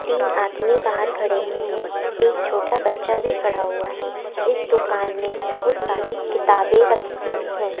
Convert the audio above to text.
तीन आदमी बाहर खड़े हुए हैं एक छोटा बच्चा भी खड़ा हुआ है इस दुकान में बहुत सारी किताबें रखी हुई हैं।